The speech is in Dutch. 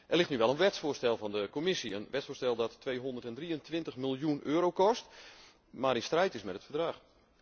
Er ligt nu wel een wetsvoorstel van de Commissie, een wetvoorstel dat 223 miljoen euro kost, maar in strijd is met het Verdrag.